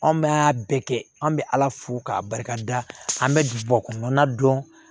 Anw bɛ a bɛɛ kɛ an bɛ ala fo k'a barikada an bɛ bi kɔnɔnana dɔn